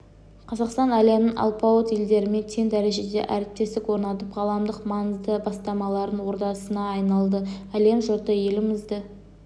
қазақстан әлемнің алпауыт елдерімен тең дәрежеде әріптестік орнатып ғаламдық маңызды бастамалардың ордасына айналды әлем жұрты елімізді